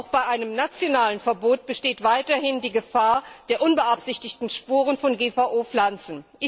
Denn auch bei einem nationalen Verbot besteht weiterhin die Gefahr der unbeabsichtigten Spuren von GVO Pflanzen.